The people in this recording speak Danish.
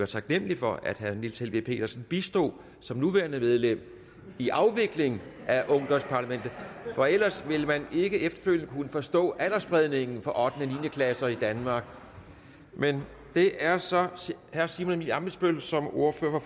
taknemlige for at herre niels helveg petersen bistod som nuværende medlem i afviklingen af ungdomsparlamentet for ellers ville man ikke efterfølgende kunne forstå aldersspredningen for ottende niende klasserne i danmark men det er så herre simon emil ammitzbøll som ordfører